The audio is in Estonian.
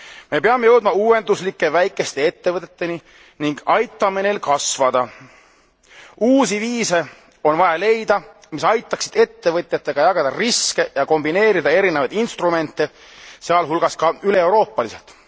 Me peame jõudma uuenduslike väikeste ettevõteteni ning aitama neil kasvada. Tuleb leida uusi viise, mis aitaksid ettevõtjatega jagada riske ja kombineerida erinevaid instrumente, sealhulgas ka üleeuroopaliselt.